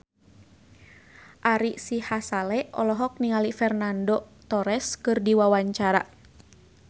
Ari Sihasale olohok ningali Fernando Torres keur diwawancara